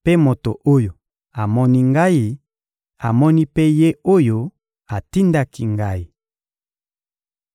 mpe moto oyo amoni Ngai, amoni mpe Ye oyo atindaki Ngai.